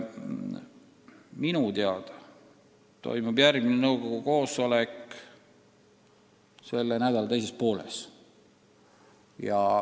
Minu teada toimub järgmine nõukogu koosolek selle nädala teises pooles.